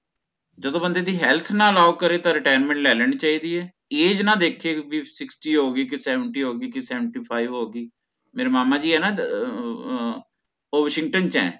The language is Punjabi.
ਜਦੋਂ ਬੰਦੇ ਦੀ health allow ਨਾ ਓ ਕਰੋ ਤਾ retirement ਲੈ ਲੈਣੀ ਚਾਹੀਦੀ ਹੈ age ਨਾ ਦੇਖੇ ਭੀ sixty ਹੋਗੀ ਕੇ seventy ਹੋਗੀ ਕੇ seventy five ਹੋਗੀ ਮੇਰੇ ਮਾਮਾ ਜੀ ਹੈ ਨਾ ਓਹ ਅਹ washington ਚ ਹੈ